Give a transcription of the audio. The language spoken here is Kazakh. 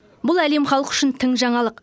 бұл әлем халқы үшін тың жаңалық